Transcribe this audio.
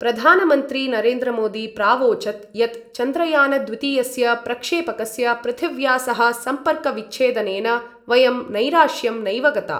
प्रधानमंत्री नरेन्द्रमोदी प्रावोचत् यत् चन्द्रयानद्वितीयस्य प्रक्षेपकस्य पृथिव्या सह सम्पर्कविच्छेदनेन वयं नैराश्यं नैव गता।